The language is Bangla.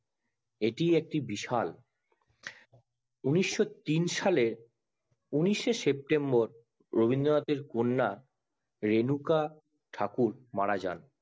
এটি একটি বিশাল ঊনিশশো তিন সালে উনিশে সেপ্টেম্বর রবীন্দ্রনাথ এর কন্যা রেনুকা ঠাকুর মারা যান